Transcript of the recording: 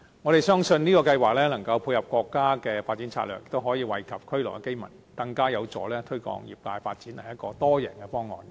我們相信這項計劃能夠配合國家的發展策略，亦能惠及區內的居民，更有助推動業界的發展，是多贏的方案。